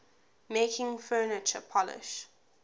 making furniture polish